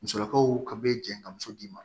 Musolakaw ka bɛ jɛn ka muso d'i ma